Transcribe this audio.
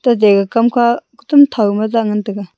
tate kamka thantho ma dan la taga.